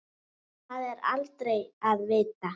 Það er aldrei að vita?